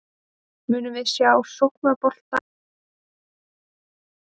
Munum við sjá sóknarbolta í leikjunum tveimur?